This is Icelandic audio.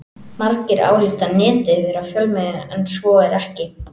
Margir álíta Netið vera fjölmiðil en svo er ekki.